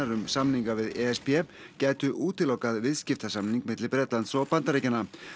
um samninga við e s b gætu útilokað viðskiptasamning milli Bretlands og Bandaríkjanna